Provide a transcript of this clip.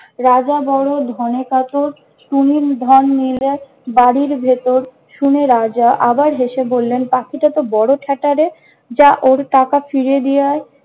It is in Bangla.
রাজা বড় ধনে কাতর, টুনির ধন নিলে বাড়ীর ভিতর! শুনে রাজা আবার হেসে বললেন- পাখিটা তো বড় ঠ্যাঁটা রে! যা ওর টাকা ফিরিয়ে নিয়ে আয়।